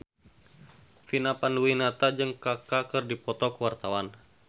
Vina Panduwinata jeung Kaka keur dipoto ku wartawan